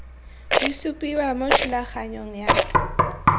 di supiwa mo thulaganyong ya